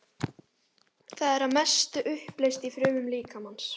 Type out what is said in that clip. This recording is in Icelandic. Það er að mestu uppleyst í frumum líkamans.